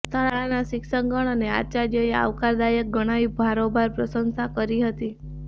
શાળાના શિક્ષકગણ અને આચાર્યએ આવકારદાયક ગણાવી ભારોભાર પ્રશંસા કરી હતી